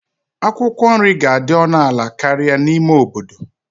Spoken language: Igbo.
Akwụkwọ nri ga-adị ọnụ ala karịa n'ime obodo.